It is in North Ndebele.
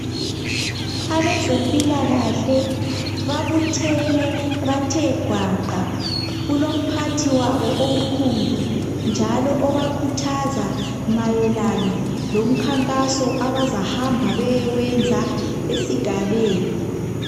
Abezempilakahle babuthene bathe gwaqa kulomphathi wabo omkhulu njalo obakhuthaza mayelana lomkhankaso abazahamba beyewenza esigabeni.